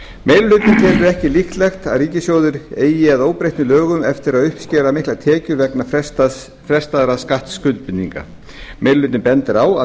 meiri hlutinn telur ekki líklegt að ríkissjóður eigi að óbreyttum lögum eftir að uppskera miklar tekjur vegna frestaðra skattskuldbindinga meiri hlutinn bendir á að